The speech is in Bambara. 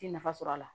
Ti nafa sɔrɔ a la